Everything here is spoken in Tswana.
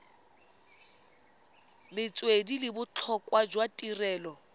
metswedi le botlhokwa jwa tirelo